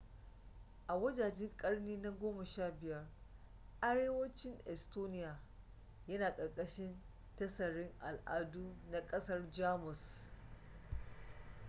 a wajejen ƙarni na 15 arewacin estonia yana ƙarƙashin tasirin al'adu na ƙasar jamus